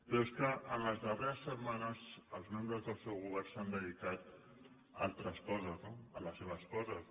però és que en les darreres setmanes els membres del seu govern s’han dedicat a altres coses no a les seves coses